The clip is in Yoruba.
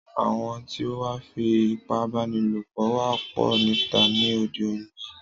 Àwọn tí o wá ń fí ipábánilopọ̀ wá pọ̀ níta ní òde yìí.